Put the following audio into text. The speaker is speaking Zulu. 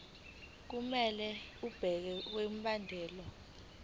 kumele benze okulandelayo